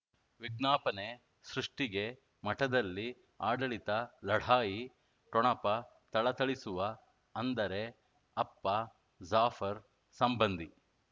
ವಿಜ್ಞಾಪನೆ ಸೃಷ್ಟಿಗೆ ಮಠದಲ್ಲಿ ಆಡಳಿತ ಲಢಾಯಿ ಠೊಣಪ ಥಳಥಳಿಸುವ ಅಂದರೆ ಅಪ್ಪ ಜಾಫರ್ ಸಂಬಂಧಿ